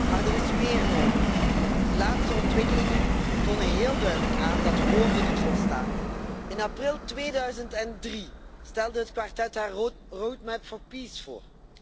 Maar er is meer nodig. De laatste ontwikkelingen tonen heel duidelijk aan dat woorden niet volstaan. In april 2003 stelde het kwartet zijn Roadmap for Peace voor.